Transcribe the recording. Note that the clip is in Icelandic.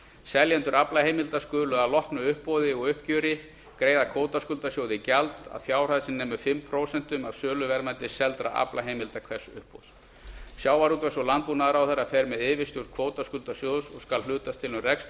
seljendur aflaheimilda skulu að loknu uppboði og uppgjöri greiða kvótaskuldasjóði gjald að fjárhæð sem nemur fimm prósent söluverðmætis seldra aflaheimilda hvers uppboðs sjávarútvegs og landbúnaðarráðherra fer með yfirstjórn kvótaskuldasjóðs og skal hlutast til um að rekstur